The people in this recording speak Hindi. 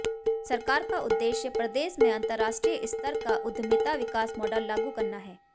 सरकार का उद्देश्य प्रदेश में अंतर्राष्ट्रीय स्तर का उद्यमिता विकास मॉडल लागू करना है